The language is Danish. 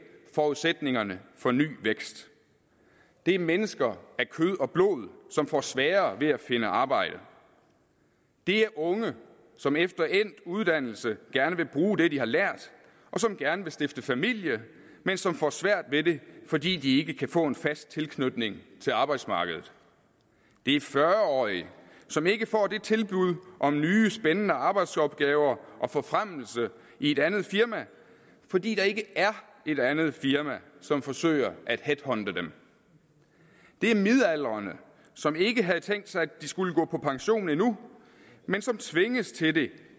forudsætningerne for ny vækst det er mennesker af kød og blod som får sværere ved at finde arbejde det er unge som efter endt uddannelse gerne vil bruge det de har lært og som gerne vil stifte familie men som får svært ved det fordi de ikke kan få en fast tilknytning til arbejdsmarkedet det er fyrre årige som ikke får det tilbud om nye spændende arbejdsopgaver og forfremmelse i et andet firma fordi der ikke er et andet firma som forsøger at headhunte dem det er midaldrende som ikke havde tænkt sig at gå på pension endnu men som tvinges til det